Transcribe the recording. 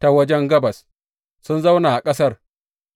Ta waje gabas sun zauna a ƙasar